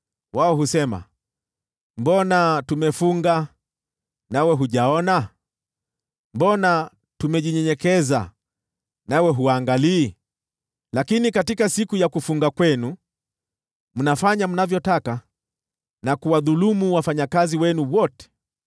Wao husema, ‘Mbona tumefunga, nawe hujaona? Mbona tumejinyenyekeza, nawe huangalii?’ “Lakini katika siku ya kufunga kwenu, mnafanya mnavyotaka na kuwadhulumu wafanyakazi wenu wote.